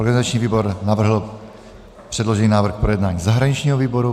Organizační výbor navrhl předložený návrh k projednání zahraničnímu výboru.